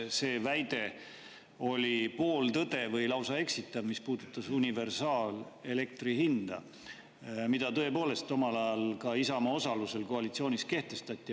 See väide oli pooltõde või lausa eksitav, mis puudutas universaalelektrihinda, mida tõepoolest omal ajal ka Isamaa osalusel koalitsioonis kehtestati.